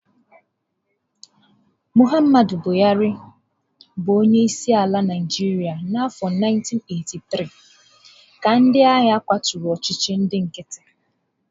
Muhammadu Buhari buru onye isi ala na Naijiria n'afọ 1983, ka ndị agha kwaturu ọchịchị ndị nkịtị.